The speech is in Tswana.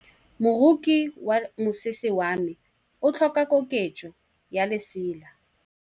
Moroki wa mosese wa me o tlhoka koketsô ya lesela.